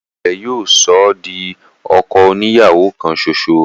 ẹ̀sìn rẹ̀ yóò sọ ọ́ di ọkọ oni ìyàwó kan ṣoṣo.